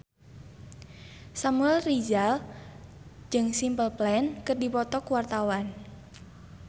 Samuel Rizal jeung Simple Plan keur dipoto ku wartawan